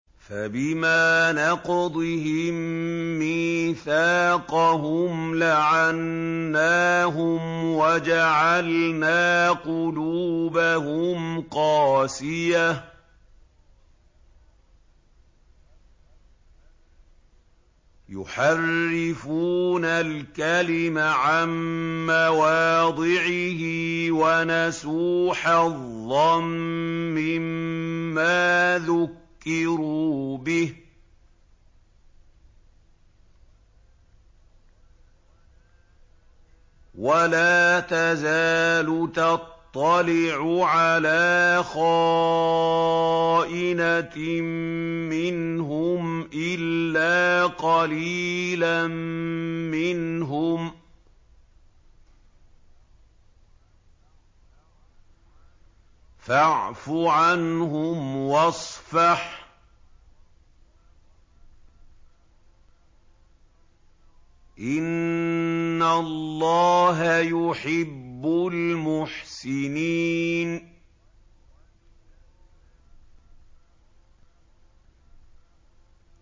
فَبِمَا نَقْضِهِم مِّيثَاقَهُمْ لَعَنَّاهُمْ وَجَعَلْنَا قُلُوبَهُمْ قَاسِيَةً ۖ يُحَرِّفُونَ الْكَلِمَ عَن مَّوَاضِعِهِ ۙ وَنَسُوا حَظًّا مِّمَّا ذُكِّرُوا بِهِ ۚ وَلَا تَزَالُ تَطَّلِعُ عَلَىٰ خَائِنَةٍ مِّنْهُمْ إِلَّا قَلِيلًا مِّنْهُمْ ۖ فَاعْفُ عَنْهُمْ وَاصْفَحْ ۚ إِنَّ اللَّهَ يُحِبُّ الْمُحْسِنِينَ